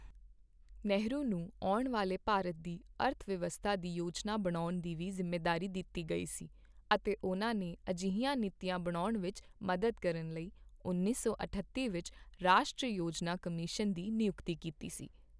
ਨਹਿਰੂ ਨੂੰ ਆਉਣ ਵਾਲੇ ਭਾਰਤ ਦੀ ਅਰਥਵਿਵਸਥਾ ਦੀ ਯੋਜਨਾ ਬਣਾਉਣ ਦੀ ਜ਼ਿੰਮੇਵਾਰੀ ਵੀ ਦਿੱਤੀ ਗਈ ਸੀ ਅਤੇ ਉਨ੍ਹਾਂ ਨੇ ਅਜਿਹੀਆਂ ਨੀਤੀਆਂ ਬਣਾਉਣ ਵਿੱਚ ਮਦਦ ਕਰਨ ਲਈ ਉੱਨੀ ਸੌ ਅਠੱਤੀ ਵਿੱਚ ਰਾਸ਼ਟਰੀ ਯੋਜਨਾ ਕਮਿਸ਼ਨ ਦੀ ਨਿਯੁਕਤੀ ਕੀਤੀ ਸੀ।